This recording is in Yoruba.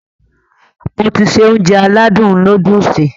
Mo ti se Ounjẹ aládùn nóódùsì